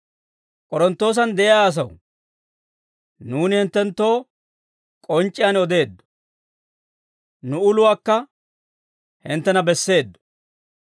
K'oronttoosan de'iyaa asaw, nuuni hinttenttoo k'onc'c'iyaan odeeddo; nu uluwaakka hinttena besseeddo;